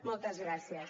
moltes gràcies